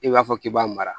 I b'a fɔ k'i b'a mara